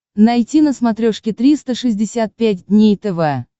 найти на смотрешке триста шестьдесят пять дней тв